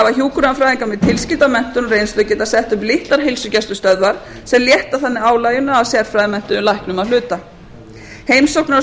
hafa hjúkrunarfræðingar með tilskilda menntun og reynslu getað sett upp litlar heilsugæslustöðvar sem létta þannig álaginu af sérfræðimenntuðum læknum að hluta heimsóknir á